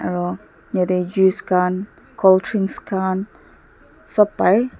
aro yatae juice khan colddrinks khan sop pai.